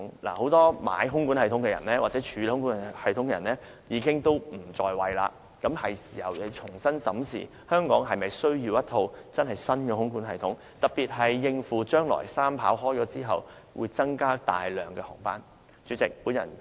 事實上，現時很多購買或處理空管系統的人已經不在位，是時候重新審視香港是否需要一套新的空管系統，特別是應付將來三跑啟用後，會大幅增加的航班數量。